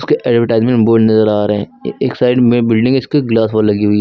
एक advertisement board नजर आ रहे हैं एक साइड में बिल्डिंग है उसके ग्लास वॉल लगी हुई है।